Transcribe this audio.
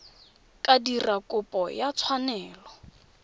ka dira kopo ya tshwanelo